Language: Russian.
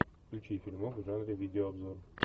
включи фильмок в жанре видеообзор